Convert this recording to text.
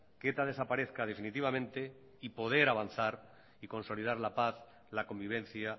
que eta desaparezca definitivamente y poder avanzar y consolidar la paz la convivencia